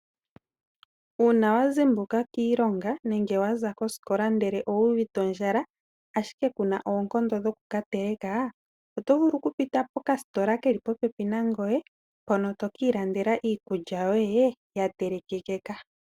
Uuna wazimbuka kiilonga nenge waza kosikola ndele owuvite ondjala ashike kuna oonkondo dho kukateleka, otovulu okupita po kasitola keli popepi na ngoye mpoka to kiilandela iikulya yoye ya telekeka.